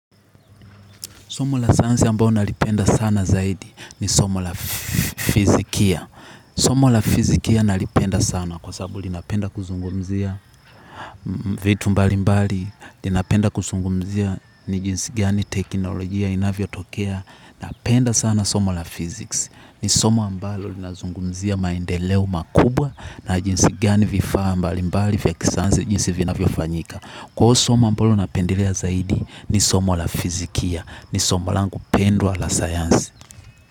Somo la sayansi ambalo nalipenda sana zaidi ni somo la fizikia. Somo la fizikia nalipenda sana kwa sababu linapenda kuzungumzia vitu mbalimbali. Inapenda kuzungumzia ni jinsi gani teknolojia inavyo tokea. Napenda sana somo la fizikia. Ni somo ambalo linazungumzia maendeleo makubwa na jinsi gani vifaa mbalimbali vya kisayansi jinsi vinavyo fanyika. Kwa huo somo ambalo napendlea zaidi ni somo la fizikia, ni somo langu pendwa la sayansi.